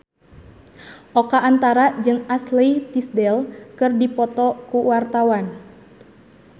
Oka Antara jeung Ashley Tisdale keur dipoto ku wartawan